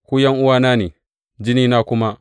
Ku ’yan’uwana ne, jikina, jinina kuma.